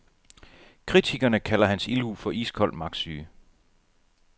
Kritikerne kalder hans ildhu for iskold magtsyge.